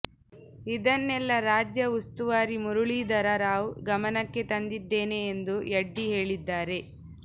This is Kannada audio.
ಇದನ್ನೆಲ್ಲ ರಾಜ್ಯ ಉಸ್ತುವಾರಿ ಮುರಳೀಧರ ರಾವ್ ಗಮನಕ್ಕೆ ತಂದಿದ್ದೇನೆ ಎಂದು ಯಡ್ಡಿ ಹೇಳಿದ್ದಾರೆ